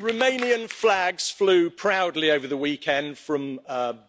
Romanian flags flew proudly over the weekend from